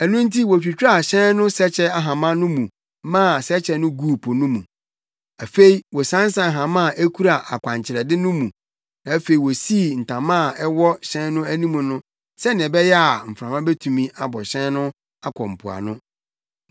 Ɛno nti wotwitwaa hyɛn no sɛkyɛ ahama no mu maa sɛkyɛ no guu po mu. Afei wɔsansan hama a ekura akwankyerɛde no mu na afei wosii ntama a ɛwɔ hyɛn no anim no sɛnea ɛbɛyɛ a mframa betumi abɔ hyɛn no akɔ mpoano.